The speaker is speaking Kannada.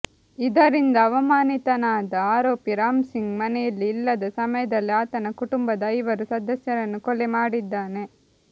ಇದರಿಂದ ಅವಮಾನಿತನಾದ ಆರೋಪಿ ರಾಮ್ ಸಿಂಗ್ ಮನೆಯಲ್ಲಿ ಇಲ್ಲದ ಸಮಯದಲ್ಲಿ ಆತನ ಕುಟುಂಬದ ಐವರು ಸದಸ್ಯರನ್ನು ಕೊಲೆ ಮಾಡಿದ್ದಾನೆ